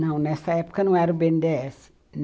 Não, nessa época não era o bê ene dê esse